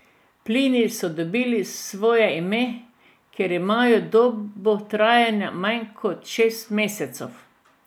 Plini so dobili svoje ime, ker imajo dobo trajanja manj kot šest mesecev.